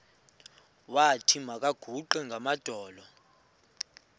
wathi makaguqe ngamadolo